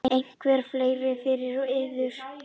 Eitthvað fleira fyrir yður?